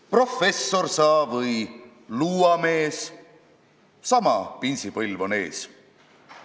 Professor sa või luuamees – sama pinsipõlv on ees.